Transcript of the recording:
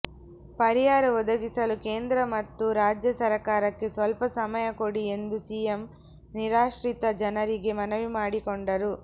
ಪರಿಹಾರ ಒದಗಿಸಲು ಕೇಂದ್ರ ಮತ್ತು ರಾಜ್ಯ ಸರಕಾರಕ್ಕೆ ಸ್ವಲ್ಪ ಸಮಯ ಕೊಡಿ ಎಂದು ಸಿಎಂ ನಿರಾಶ್ರಿತ ಜನರಿಗೆ ಮನವಿಮಾಡಿಕೊಂಡರು